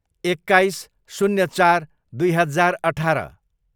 एक्काइस, शून्य चार, दुई हजार अठार